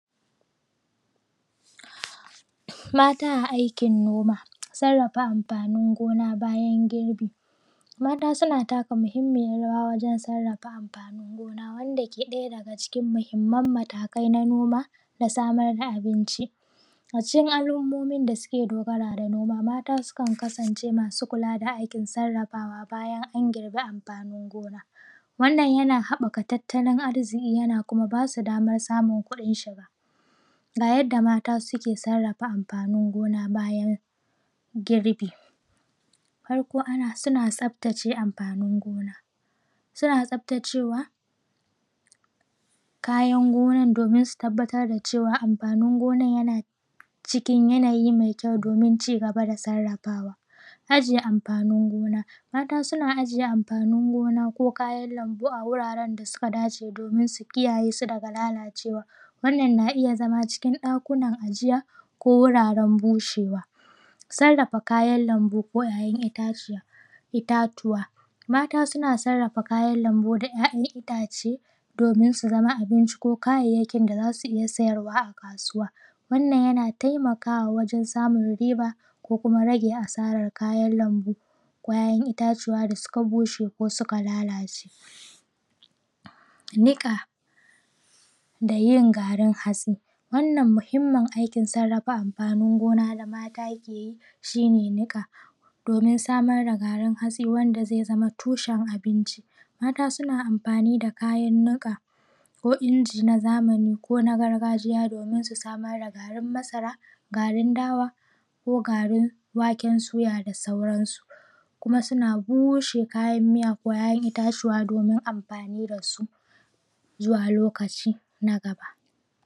Mata a aikin noma. Sarrafa amfanin gona bayan girbi. Mata suna taka muhimiyan rawa wajan sarrafa amfanin gona, wanda ke ɗaya daga cikin muhinman matakai na noma da samar da abinci. A cikin alummomin da ke dogara da noma, mata sukan kasance masu kula da aikin sarrafawa bayan an girbe amfani gona. Wannan yana haɓɓaka tattalin arziki, yana kuma ba su damar samun kuɗin shiga. Ga yadda mata suke sarrafa amfanin gona bayan girbi. Farko suna tsaftace amfanin gona. Suna tsaftacewa kayan gonan domin su tabbatar da cewa amfanin gonan yana cikin yanayi mai kyau domin ci gaba da sarrafawa. Ajiye amfanin gona. Mata suna ajiye amfanin gona ko kayan lambu a guraran da suka dace domin su kiyaye su daga lalacewa, wannan yana iya zama cikin ɗakunan ajiya ko guraren bushewa. Sarrafa kayan lambu da ‘ya’yan itaciya. Mata suna sarrafa kayan lambu da ‘ya’yan itace domin su samu abinci ko kayayyakin da za su iya sayarwa a kasuwa. Wannan yana taimaka wajan samun riba ko kuma rage asarar kayan lanbu ko ‘ya’yan itaciya da suka bushe ko suka lalace. Niƙa da yin garin hatsi. Wannan muhimmin aikin sarrafa amfanin gona da mata ke yi shine niƙa domin samar da garin hatsi wanda zai zama tushen abinci. Mata suna amfani da kayan niƙa ko inji na zamani ko na gargajiya domin su samar da garin masara, garin dawa ko garin waken suya da sauransu. Kuma suna bushe kayan miya ko ‘ya’yan itatuwa domin amfani da su zuwa lokaci na gaba.